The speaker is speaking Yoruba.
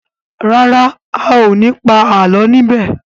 ràrá ào ní pa àlọ ní bè.